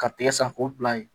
Ka tɛgɛ san k'o bila yen